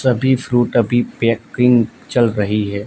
सभी फ्रूट अभी पैकिंग चल रही है।